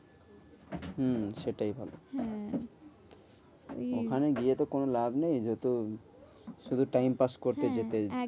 হম সেটাই ভালো হ্যাঁ ওখানে গিয়ে তো কোনো লাভ নেই যত শুধু time pass করতে যেতে একদম